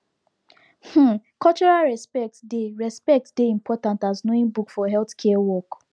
um cultural respect dey respect dey important as knowing book for healthcare work